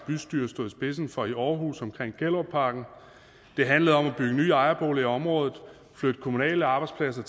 bystyre stod i spidsen for i aarhus det handlede om at bygge nye ejerboliger i området flytte kommunale arbejdspladser